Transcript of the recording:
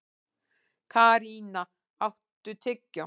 Karína, áttu tyggjó?